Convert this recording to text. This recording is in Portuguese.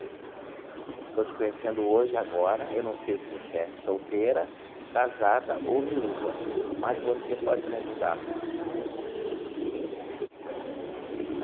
Estou te conhecendo hoje e agora, eu não sei se você é solteira, casada ou viúva, mas você pode me ajudar.